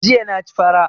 Jiya na ci fara